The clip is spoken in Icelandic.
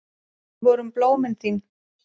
Við vorum blómin þín.